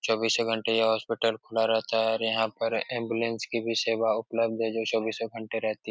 चौबीसो घंटे ये हॉस्पिटल खुला रहता है और यहाँ पर एम्बुलेंस की भी सेवा उपलब्ध है जो चौबीसो घंटे रहती है।